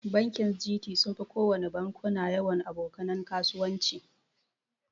Bankin Gt sunfi kowana bankuna yawan aboka nan kasuwanci.